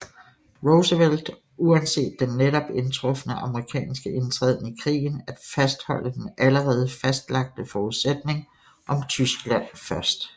Roosevelt uanset den netop indtrufne amerikanske indtræden i krigen at fastholde den allerede fastlagte forudsætning om Tyskland først